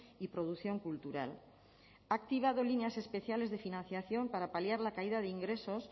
y producción cultural ha activado líneas especiales de financiación para paliar la caída de ingresos